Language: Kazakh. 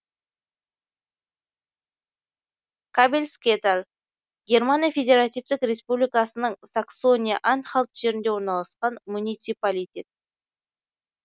кабельскеталь германия федеративтік республикасының саксония анхальт жерінде орналасқан муниципалитет